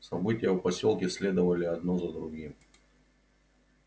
события в посёлке следовали одно за другим